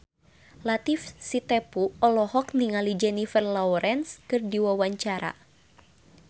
Latief Sitepu olohok ningali Jennifer Lawrence keur diwawancara